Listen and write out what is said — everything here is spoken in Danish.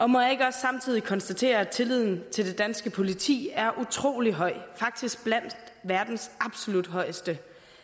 må jeg ikke også samtidig konstatere at tilliden til det danske politi er utrolig høj faktisk blandt verdens absolut højeste